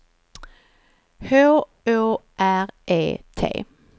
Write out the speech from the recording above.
H Å R E T